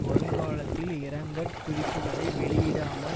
வருங்காலத்தில் இரங்கற் குறிப்புக்களை வெளியிடாமல்